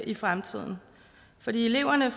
i fremtiden for eleverne